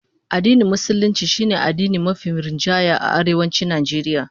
Addinin Musulunci shine addini mafi rinjaye a Arewacin Najeriya